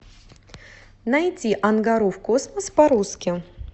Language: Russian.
найти ангару в космос по русски